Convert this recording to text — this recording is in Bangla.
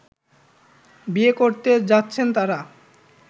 বিয়ে করতে যাচ্ছেন তারা